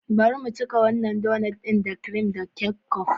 Bari mu cika wannan donut ɗin da kirim da ketchup.